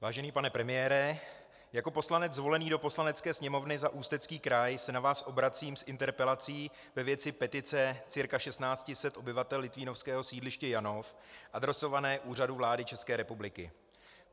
Vážený pane premiére, jako poslanec zvolený do Poslanecké sněmovny za Ústecký kraj se na vás obracím s interpelací ve věci petice cca 1 600 obyvatel litvínovského sídliště Janov adresované Úřadu vlády České republiky.